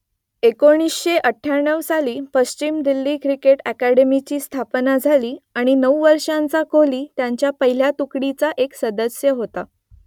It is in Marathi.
एकोणीसशे अठ्ठ्याण्णव साली पश्चिम दिल्ली क्रिकेट अकादमीची स्थापना झाली आणि नऊ वर्षांचा कोहली त्यांच्या पहिल्या तुकडीचा एक सदस्य होता